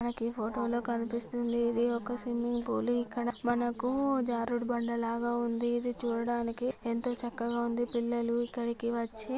మనకి ఫోటోలో కనిపిస్తూంది ఇది ఒక స్విమ్మింగ్ పూల్ ఇక్కడ మనకు జరుదు బండ లాగ ఉంది. ఇది చూడడానికి ఎంతో చకగా ఉంది. పిల్లల్లు ఇక్కడికి వోచి --